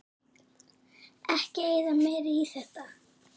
Ekki eyða meiru í þetta